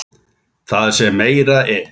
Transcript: Það sem meira er.